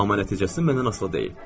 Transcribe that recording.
Amma nəticəsi məndən asılı deyil.